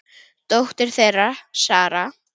Dóttir þeirra: Sara.